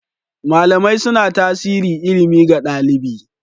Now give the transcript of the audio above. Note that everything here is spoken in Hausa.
Malamai suna tasiri ilimi ga ɗalibi.